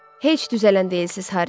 Heç düzələn deyilsiz, Harry.